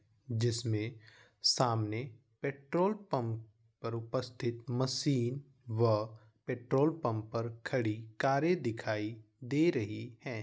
जिसमे सामने petrol pump पर उपस्थित मशीन व पेट्रोल पंप पर खड़ी कारे दिखाई दे रही है।